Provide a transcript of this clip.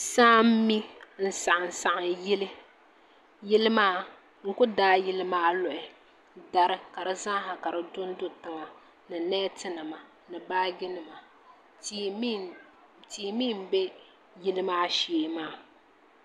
Saa n mi n saɣam saɣam yili yili maa n ku daai yili maa luɣi ka di zaaha ka di dondo tiŋa ni neeti nima ni baaji nima tia mii n bɛ yili maa shee maa